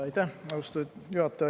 Aitäh, austatud juhataja!